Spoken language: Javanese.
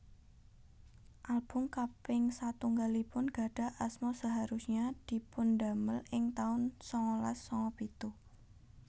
Album kaping satunggalipun gadhah asma Seharusnya dipundamel ing taun sangalas sanga pitu